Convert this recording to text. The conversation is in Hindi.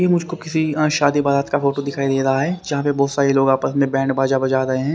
ये मुझको किसी शादीबारात का फोटो दिखाई दे रहा है जहां पे बहुत सारे लोग आपस में बैंड बाजा बजा रहे हैं।